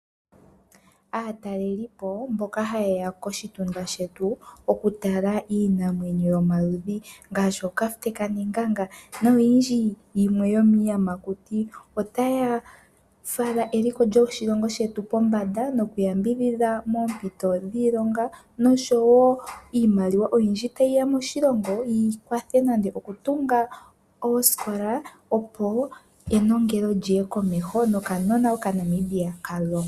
Aatalelipo mboka haye ya koshitunda shetu okutala iinamwenyo yomaludhi ngaashi ookafute kaNenganga noyindji yimwe yomiiyamakuti. Otaya fala eliko lyoshilongo shetu pombanda nokuyambidhidha moompito dhiilonga nosho wo iimaliwa oyindji tayi ya moshilongo yi kwathele nande okutunga oosikola, opo enongelo li ye komeho nokanona Okanamibia ka longwe.